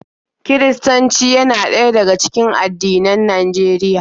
Kiristanci yana ɗaya daga cikin addinan Najeriya.